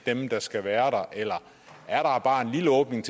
er dem der skal være eller er der bare en lille åbning